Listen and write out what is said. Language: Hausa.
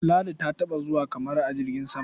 Ladi taɓa zuwa Kamaru a jirgin sam.